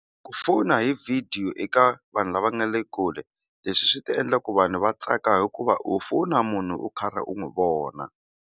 Ku fona hi video eka vanhu lava nga le kule leswi swi ta endla ku vanhu va tsaka hikuva u fonela munhu u karhi u n'wi vona.